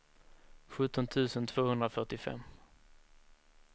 sjutton tusen tvåhundrafyrtiofem